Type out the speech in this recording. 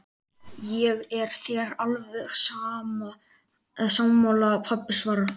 Ég er þér alveg sammála, pabbi svarar